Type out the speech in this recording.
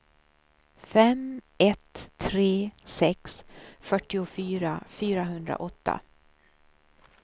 fem ett tre sex fyrtiofyra fyrahundraåtta